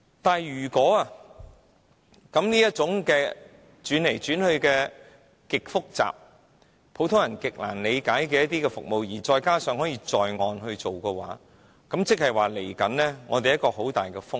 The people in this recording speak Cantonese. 但是，如果這種轉來轉去、極度複雜、普通人難以理解的服務可以在岸做，換言之，未來我們將承受很大的風險。